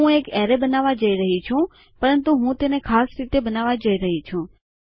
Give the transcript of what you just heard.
હું એક એરેય બનાવવા જઈ રહી છું પરંતુ હું તેને ખાસ રીતે બનાવવા જઈ રહી છું